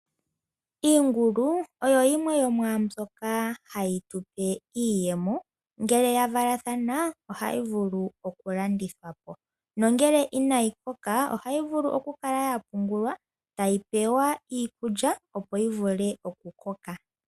Iingulu oyo yimwe yomwaambyoka hayi tu pe iiyemo ngee yavalathana oha vulu okulandathwapo, nongele inayi koka ohayi vulu okukala yapungula tayi pewa iikulya opo yi vule okukoka.